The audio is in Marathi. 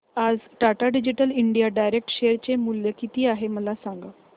आज Tata digital India direct share चे मूल्य किती आहे मला सांगा